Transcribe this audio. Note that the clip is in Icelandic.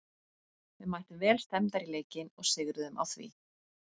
Við mættum vel stemmdar í leikinn og sigruðum á því.